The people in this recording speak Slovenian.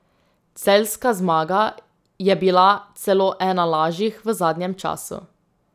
Celjska zmaga je bila celo ena lažjih v zadnjem času.